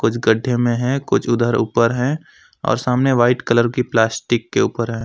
कुछ गड्ढे में है कुछ उधर ऊपर है और सामने वाइट कलर की प्लास्टिक के ऊपर है।